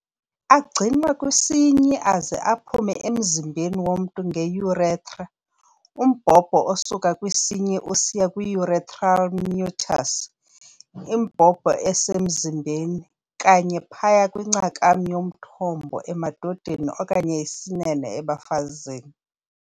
Agcinwa kwisinyi aze aphume emzimbeni womntu ngeurethra, umbhobho osuka kwisinyi usiya kwi-urethral meatus, meatus imbobo esemzimbeni, kanye phaya kwincakam yomthondo, emadodeni, okanye isinene, ebafazini.